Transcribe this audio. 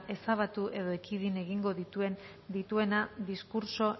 ezabatu edo ekidin egingo dituena diskurtso